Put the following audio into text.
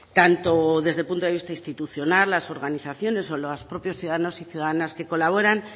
tanto desde el punto de vista institucional las organizaciones o los propios ciudadanos y ciudadanas que colaboran